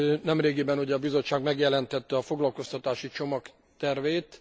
Nemrégiben a Bizottság megjelentette a foglalkoztatási csomag tervét.